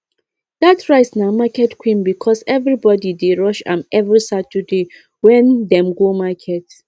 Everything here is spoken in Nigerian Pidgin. that rice na market queen because everybody dey rush am every saturday wen dem go market